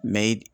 Mɛ